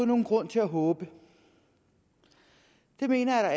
nogen grund til at håbe det mener